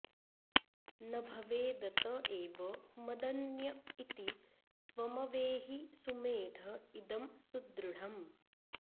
न भवेदत एव मदन्य इति त्वमवेहि सुमेध इदं सुदृढम्